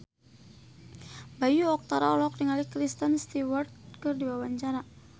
Bayu Octara olohok ningali Kristen Stewart keur diwawancara